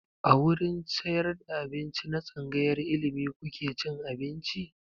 A wurin sayar da abinci na tsangayar ilimi kuke cin abinci?